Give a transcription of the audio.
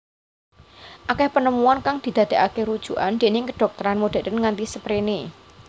Akeh penemuan kang didadekake rujukan déning kedhokteran modern nganti sperene